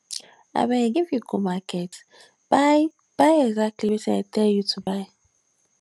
abeg if you go market buy buy exactly wetin i tell you to buy